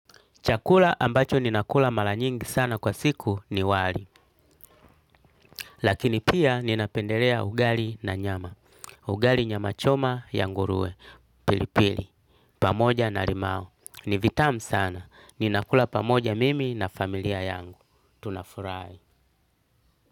Chakula ambacho ninakula mala nyingi sana kwa siku ni wali. Lakini pia ninapendelea ugali na nyama. Ugali nyama choma ya nguruwe. Pilipili. Pamoja na limao. Ni vitam sana. Ninakula pamoja mimi na familia yangu. Tunafurahi.